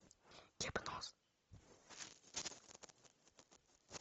гипноз